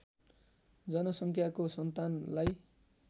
जनसङ्ख्याको सन्तानलाई